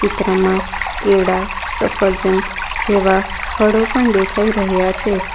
ચિત્રમાં કેળા સફરજન જેવા ફળો પણ દેખાય રહ્યા છે.